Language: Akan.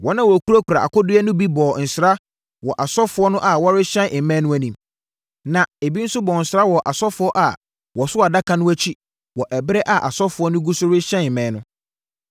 Wɔn a wɔkurakura akodeɛ no bi bɔɔ nsra wɔ asɔfoɔ no a wɔrehyɛn mmɛn no anim, na ebi nso bɔɔ nsra wɔ asɔfoɔ a wɔso Adaka no akyi wɔ ɛberɛ a asɔfoɔ no gu so rehyɛn mmɛn no.